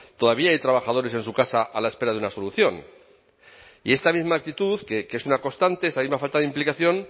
todavía hay trabajadores en su casa a la espera de una solución y esta misma actitud que es una constante esta misma falta de implicación